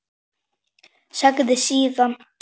Sagði síðan: